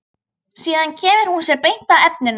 Síðan kemur hún sér beint að efninu.